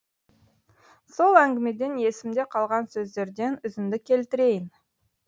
сол әңгімеден есімде қалған сөздерден үзінді келтірейін